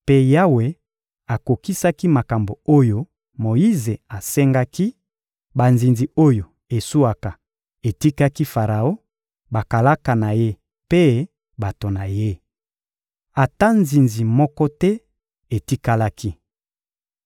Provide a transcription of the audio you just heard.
mpe Yawe akokisaki makambo oyo Moyize asengaki: banzinzi oyo eswaka etikaki Faraon, bakalaka na ye mpe bato na ye. Ata nzinzi moko te etikalaki.